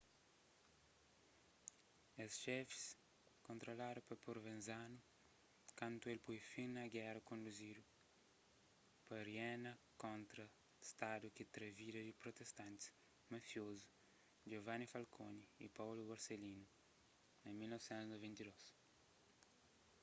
es xefis kontroladu pa provenzano kantu el poi fin na géra konduzidu pa riena kontra stadu ki tra vidas di protestantis mafiozu giovanni falcone y paolo borsellino na 1992